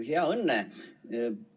Hea Õnne!